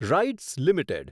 rights limited